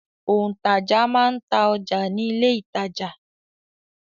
Òǹtajà máa n ta ọjà ní ilé-ìtàjà.